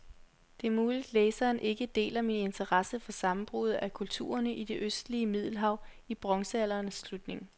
Det er muligt, læseren ikke deler min interesse for sammenbruddet af kulturerne i det østlige middelhav i bronzealderens slutning.